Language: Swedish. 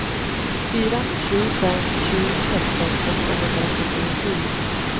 fyra sju fem sju sexton åttahundrafyrtiosju